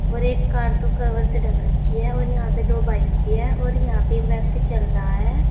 और एक कार तो कवर से ढक रखी है और यहां पे दो बाइक भी है और यहां पे एक व्यक्ति चल रहा है।